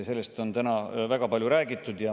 Sellest on täna väga palju räägitud.